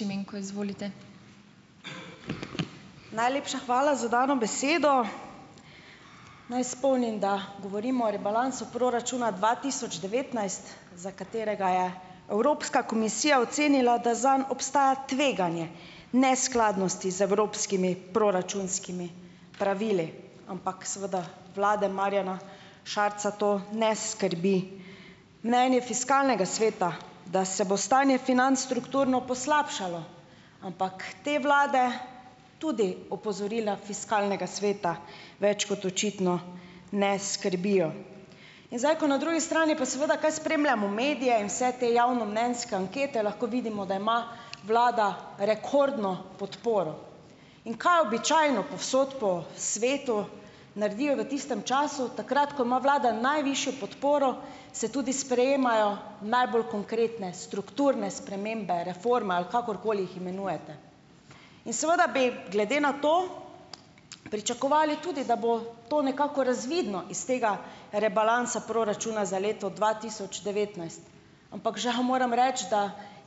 Najlepša hvala za dano besedo. Naj spomnim, da govorimo o rebalansu proračuna dva tisoč devetnajst, za katerega je Evropska komisija ocenila, da zanj obstaja tveganje neskladnosti z evropskimi proračunskimi pravili, ampak seveda vlade Marjana Šarca to ne skrbi. Mnenje fiskalnega sveta, da se bo stanje financ strukturno poslabšalo, ampak te vlade tudi opozorila fiskalnega sveta več kot očitno ne skrbijo. In zdaj ko na drugi strani je pa, seveda, kaj spremljamo medije in vse te javnomnenjske ankete, lahko vidimo, da ima vlada rekordno podporo, in kaj običajno povsod po svetu naredijo v tistem času takrat, ko ima vlada najvišjo podporo, se tudi sprejemajo najbolj konkretne strukturne spremembe reforme, ali kakorkoli jih imenujete. In seveda bi glede na to pričakovali tudi, da bo to nekako razvidno iz tega rebalansa proračuna za leto dva tisoč devetnajst, ampak žal moram reči, da